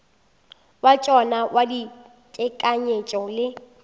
wa tšona wa tekanyetšo le